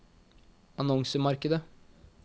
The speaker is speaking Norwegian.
annonsemarkedet